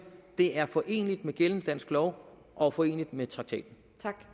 det er foreneligt med gældende dansk lov og foreneligt med traktaten